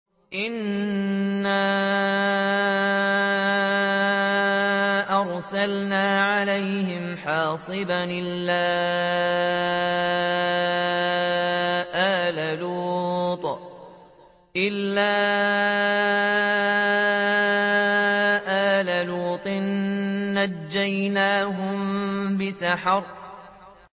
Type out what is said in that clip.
إِنَّا أَرْسَلْنَا عَلَيْهِمْ حَاصِبًا إِلَّا آلَ لُوطٍ ۖ نَّجَّيْنَاهُم بِسَحَرٍ